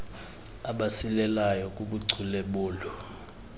abasilelayo kubuchule bolu